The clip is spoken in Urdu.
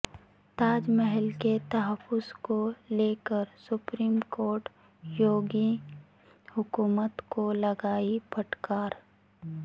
تاج محل کے تحفظ کو لے کر سپریم کورٹ یوگی حکومت کو لگائی پھٹکار